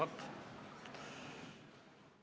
Istungi lõpp kell 11.16.